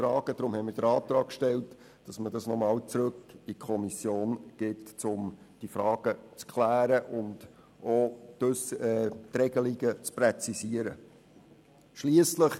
Wir haben deswegen den Antrag gestellt, dass man diese Frage nochmals zur weiteren Klärung und zur Präzisierung der Regelungen zurück in die Kommission gibt.